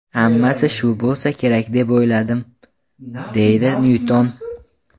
Hammasi shu bo‘lsa kerak deb o‘yladim”, deydi Nyuton.